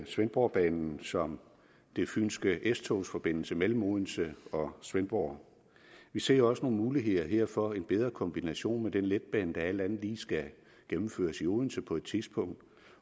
svendborgbanen som den fynske s togs forbindelse mellem odense og svendborg vi ser også nogle muligheder her for en bedre kombination med den letbane der alt andet lige skal gennemføres i odense på et tidspunkt